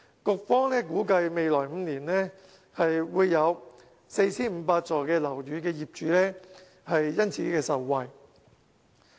局方估計，未來5年會有約 4,500 幢樓宇業主因而受惠。